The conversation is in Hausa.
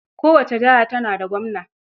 Kowace jiha tana da gwamna.